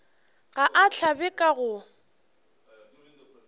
ga a hlabe ka go